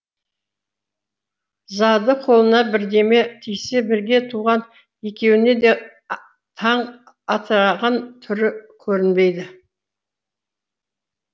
зады қолына бірдеме тисе бірге туған екеуіне де таң атыраған түрі көрінбейді